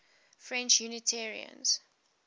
french unitarians